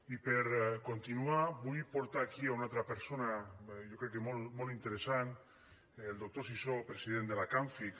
i per continuar vull portar aquí una altra persona jo crec que molt interessant el doctor sisó president de la camfic